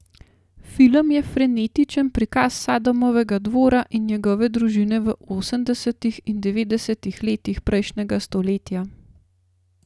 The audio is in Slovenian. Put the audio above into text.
Film je frenetičen prikaz Sadamovega dvora in njegove družine v osemdesetih in devetdesetih letih prejšnjega stoletja.